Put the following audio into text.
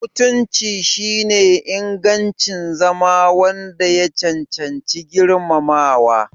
Mutunci shine ingancin zama wanda ya cancanci girmamawa.